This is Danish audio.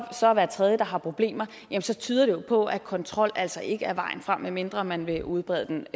så er hver tredje der har problemer så tyder det jo på at kontrol altså ikke er vejen frem medmindre man vil udbrede den